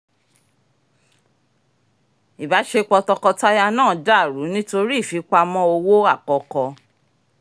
ìbáṣepọ̀ tọkọtaya náà dàrú nítorí ìfipamọ́ owó àkọkọ